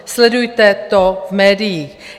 Sledujte to v médiích.